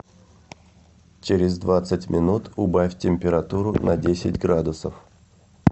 через двадцать минут убавь температуру на десять градусов